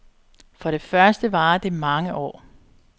For det første varer det mange år.